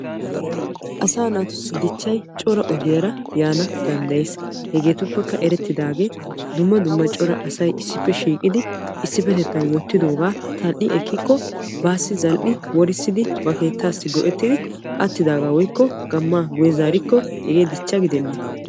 Asaa natussi dichchay cora ogiyaara yaana danddayees. hegeetuppekka erettidagee dumma dumma cora asay issippe shiiqidi isipetettan wottidoogaa tal"i ekkiko baassi zal"i go"ettidi ba keettaassi go"ettidi attidagaa woykko gammaa guye zaarikko hegee dichcha gidenee.